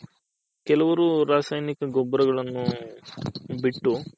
ಕೆಲವರು ರಾಸಾಯನಿಕ ಗೊಬ್ಬರಗಲ್ಲನು ಬಿಟ್ಟು